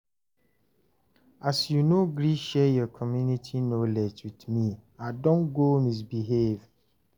as you know gree share your community knowledge with me, I don go misbehave